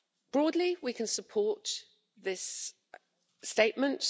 Broadly, we can support this statement.